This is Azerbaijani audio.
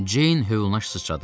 Ceyn hövlanə sıçradı.